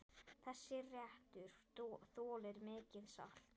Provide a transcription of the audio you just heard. Þessi réttur þolir mikið salt.